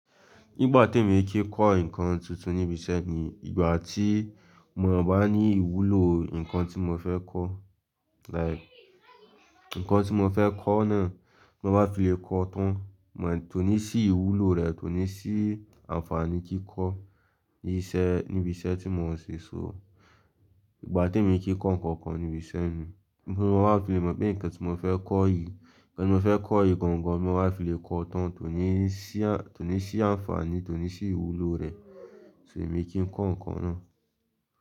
Ìgbà tí mo kín kọ́ nǹkan tuntun níbi iṣẹ́ ni ìgbà tí mo bá ní ìwúlò nǹkan tí mo fẹ́ kọ́, like nǹkan tí mo fẹ́ kọ́ náà mo bá fi le kọ́ tán, kò ní sí ìwúlò rẹ̀ kòní sí ànfàní kankan níbi iṣẹ́ tí mo ń ṣe. So ìgbà tí mo kí kọ́ nǹkan kan níbi iṣẹ́ ni kí mo má fi le mọ̀ pé nǹkan tí mo fẹ́ kọ́ yìí, nǹkan tí mo fẹ́ kọ́ yìí gangan tí mo bá fi le kọ́ tán kòní sí ànfàní, kòní sí ìwúlò rẹ̀, kòsí wù mi kí ń kọ́ nǹkan náà.